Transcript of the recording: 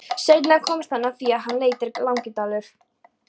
Seinna komst hann að því að hann heitir Langidalur.